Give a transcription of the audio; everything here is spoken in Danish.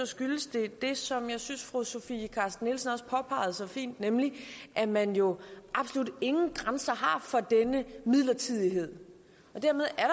skyldes det det som jeg synes fru sofie carsten nielsen også påpegede så fint nemlig at man jo absolut ingen grænser har for denne midlertidighed og dermed er